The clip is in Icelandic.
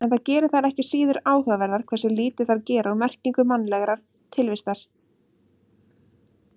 En það gerir þær ekki síður áhugaverðar hversu lítið þær gera úr merkingu mannlegrar tilvistar.